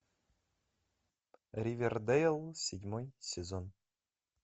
ривердейл седьмой сезон